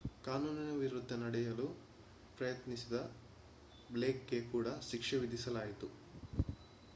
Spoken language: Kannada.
ಕಾನೂನಿನ ವಿರುದ್ಧ ನಡೆಯಲು ಪ್ರಯತ್ನಿಸಿದ ಬ್ಲೇಕ್‌ಗೆ ಕೂಡ ಶಿಕ್ಷೆ ವಿಧಿಸಲಾಯಿತು